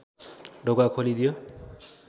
ढोका खोलिदियो